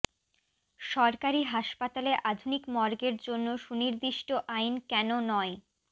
সরকারি হাসপাতালে আধুনিক মর্গের জন্য সুনির্দিষ্ট আইন কেন নয়